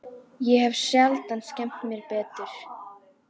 Ég hef sjaldan skemmt mér betur.